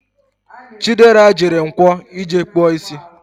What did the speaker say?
Chidi jere Nkwo ije kpụọ isi